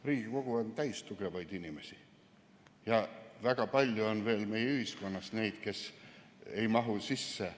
Riigikogu on täis tugevaid inimesi ja väga palju on veel meie ühiskonnas neid, kes ei mahu siia sisse.